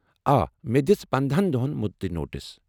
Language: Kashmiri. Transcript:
آ، مےٚ دِژ پنَدہن دۄہَن مٗدتی نوٹس